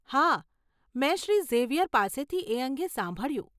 હા, મેં શ્રી ઝેવિયર પાસેથી એ અંગે સાંભળ્યું.